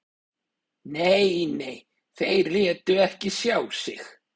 Nei, nei, þeir létu ekki sjá sig